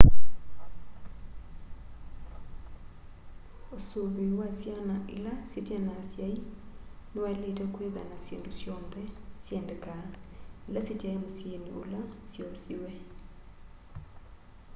usuvi wa syana ila syitena asyai ni wailite kwitha na syindu syonthe syendekaa ila sitai musyini ula syoosiwe